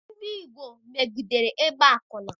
Ndị Igbo megidere ịgba akwụna.